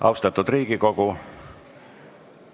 Austatud Riigikogu!